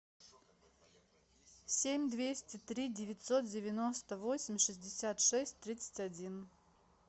семь двести три девятьсот девяносто восемь шестьдесят шесть тридцать один